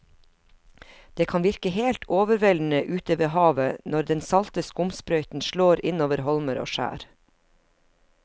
Det kan virke helt overveldende ute ved havet når den salte skumsprøyten slår innover holmer og skjær.